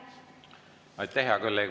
Aitäh, hea kolleeg!